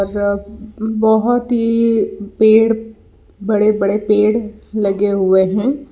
बहुत ही पेड़ बड़े बड़े पेड़ लगे हुए हैं।